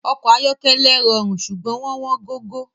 Awon oko ayokele rorun sugbon won won gogo